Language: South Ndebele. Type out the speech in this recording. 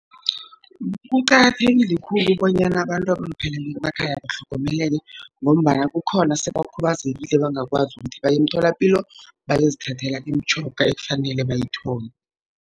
Kuqakathekile khulu bonyana abantu abalupheleko emakhaya batlhogomeleke, ngombana kukhona esebakhubazekileko abangakwazi ukuthi baye emtholapilo, bayozithathela imitjhoga ekufanele bayithole.